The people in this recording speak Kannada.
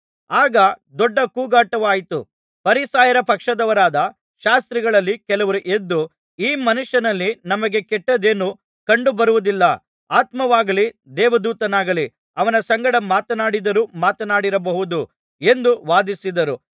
ಆಗ ದೊಡ್ಡ ಕೂಗಾಟವಾಯಿತು ಫರಿಸಾಯರ ಪಕ್ಷದವರಾದ ಶಾಸ್ತ್ರಿಗಳಲ್ಲಿ ಕೆಲವರು ಎದ್ದು ಈ ಮನುಷ್ಯನಲ್ಲಿ ನಮಗೆ ಕೆಟ್ಟದ್ದೇನೂ ಕಂಡುಬರುವುದಿಲ್ಲ ಆತ್ಮವಾಗಲಿ ದೇವದೂತನಾಗಲಿ ಅವನ ಸಂಗಡ ಮಾತನಾಡಿದ್ದರೂ ಮಾತನಾಡಿರಬಹುದು ಎಂದು ವಾದಿಸಿದರು